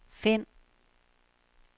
find